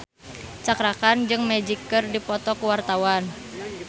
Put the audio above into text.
Cakra Khan jeung Magic keur dipoto ku wartawan